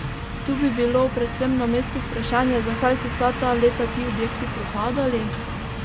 Tu bi bilo predvsem na mestu vprašanje zakaj so vsa ta leta ti objekti propadali?